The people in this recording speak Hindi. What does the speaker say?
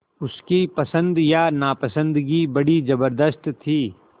उसकी पसंद या नापसंदगी बड़ी ज़बरदस्त थी